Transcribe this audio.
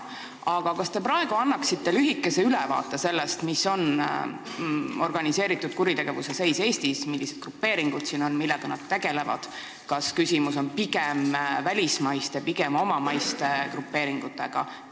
Aga kas te praegu annaksite lühikese ülevaate, milline on organiseeritud kuritegevuse seis Eestis, millised grupeeringud siin on ja millega nad tegelevad ning kas küsimus on pigem välismaistes või omamaistes grupeeringutes?